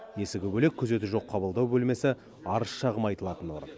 есігі бөлек күзеті жоқ қабылдау бөлмесі арыз шағым айтылатын орын